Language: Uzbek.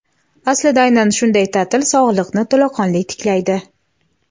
aslida aynan shunday taʼtil sog‘liqni to‘laqonli tiklaydi.